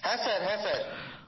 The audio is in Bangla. হ্যাঁ স্যারহ্যাঁ স্যার